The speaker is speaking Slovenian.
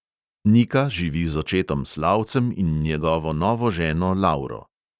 Nika živi z očetom slavcem in njegovo novo ženo lauro.